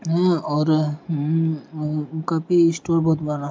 हा और हम्म और कभी स्टोर बहुत बड़ा --